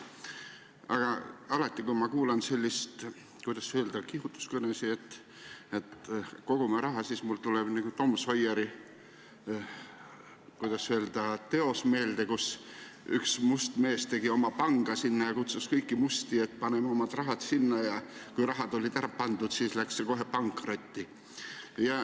Aga alati, kui kuulen selliseid, kuidas öelda, kihutuskõnesid, et kogume raha, siis tuleb mulle meelde teos "Tom Sawyer", kus üks must mees tegi oma panga ja kutsus teisi musti oma raha sinna sisse panema ja kui raha oli ära pandud, siis läks pank kohe pankrotti.